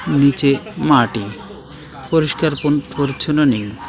নিচে মাটি পরিস্কার পরি-পরিচ্ছন্ন নেই .